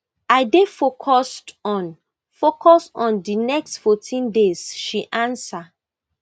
i dey focused on focused on di next fourteen days she answer